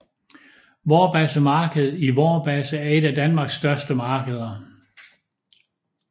Vorbasse Marked i Vorbasse er et af Danmarks største markeder